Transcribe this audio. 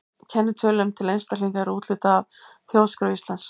Kennitölum til einstaklinga er úthlutað af Þjóðskrá Íslands.